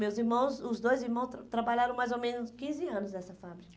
Meus irmãos, os dois irmãos, tra trabalharam mais ou menos quinze anos nessa fábrica.